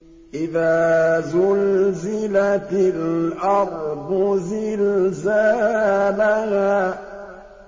إِذَا زُلْزِلَتِ الْأَرْضُ زِلْزَالَهَا